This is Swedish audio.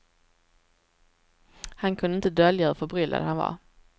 Han kunde inte dölja hur förbryllad han var.